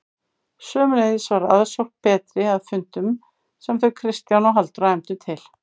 Sömuleiðis var aðsókn betri að fundum sem þau Kristján og Halldóra efndu til.